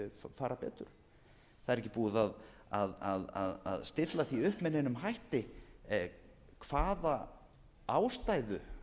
fara betur það er ekki búið að stilla því upp með neinum hætti hvaða ástæðu